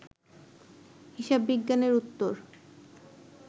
হিসাববিজ্ঞানের উত্তর